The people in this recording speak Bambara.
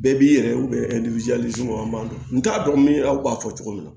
Bɛɛ b'i yɛrɛ ye an b'a dɔn n t'a dɔn min b'a fɔ cogo min na